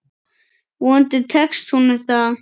Vonandi tekst honum það.